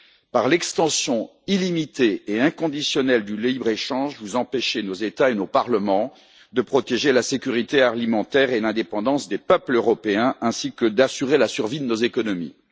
Par l'extension illimitée et inconditionnelle du libre échange, vous empêchez nos États et nos parlements de protéger la sécurité alimentaire et l'indépendance des peuples européens, ainsi que d'assurer la survie de nos économies.